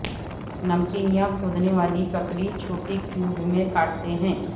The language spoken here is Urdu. نمکین یا کھودنے والی ککڑی چھوٹے کیوب میں کاٹتے ہیں